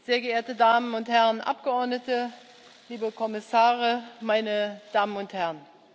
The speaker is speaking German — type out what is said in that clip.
sehr geehrte Damen und Herren Abgeordnete, liebe Kommissare, meine Damen und Herren!